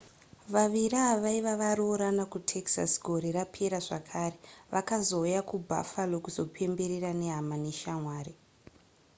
vaviri ava vaiva varoorana kutexas gore rapera zvakare vakazouya kubuffalo kuzopembera nehama neshamwari